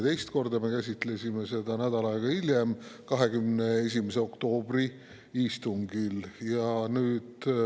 Teist korda me käsitlesime seda nädal aega hiljem, 21. oktoobri istungil.